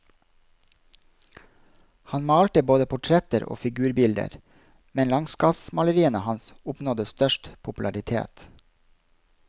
Han malte både portretter og figurbilder, men landskapsmaleriene hans oppnådde størst popularitet.